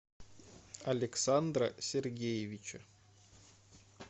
александра сергеевича